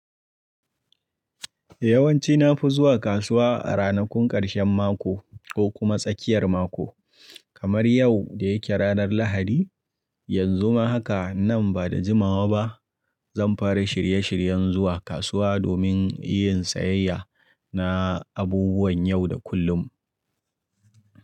Yawanci na fi zuwa kasuwa a ranakun ƙarshen mako ko kuma tsakiyar mako, kamar yau da yake ranar Lahadi. Yanzu ma haka nan ba da jimawa ba zan fara shirye shiryen zuwa kasuwa domin yin sayayya na abubuwan yau da kullum.